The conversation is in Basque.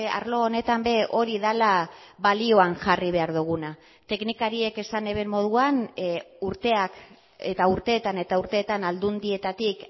arlo honetan ere hori dela balioan jarri behar duguna teknikariek esan eben moduan urteak eta urteetan eta urteetan aldundietatik